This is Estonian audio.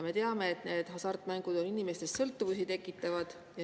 Me teame, et hasartmängud tekitavad inimestes sõltuvust.